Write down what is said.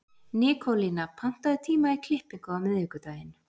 Nikólína, pantaðu tíma í klippingu á miðvikudaginn.